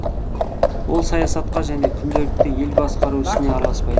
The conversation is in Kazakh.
ол саясатқа және күнделікті ел басқару ісіне араласпайды